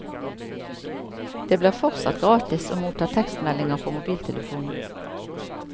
Det blir fortsatt gratis å motta tekstmeldinger på mobiltelefonen.